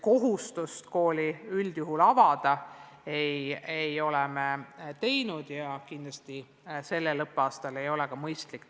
Kohustust kooli avada ei ole me kehtestanud ja kindlasti ei ole see sel õppeaastal ka mõistlik.